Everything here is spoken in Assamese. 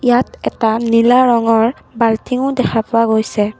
ইয়াত এটা নীলা ৰঙৰ বাল্টিংও দেখা পোৱা গৈছে।